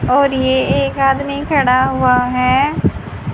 और ये एक आदमी खड़ा हुआ है।